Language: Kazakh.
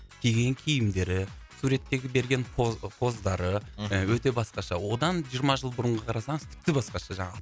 киген киімдері суреттегі берген поздары мхм өте басқаша одан жиырма жыл бұрынғы қарасаңыз тіпті басқаша жаңағы